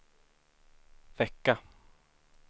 vecka